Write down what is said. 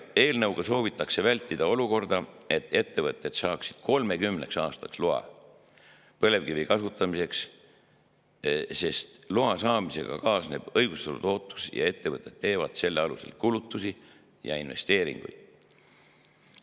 Eelnõuga soovitakse vältida olukorda, et ettevõtted saaksid 30 aastaks loa põlevkivi kasutamiseks, sest loa saamisega kaasneb õigustatud ootus ning ettevõtted teevad selle alusel kulutusi ja investeeringuid.